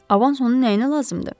Avans ona nəyinə lazımdır?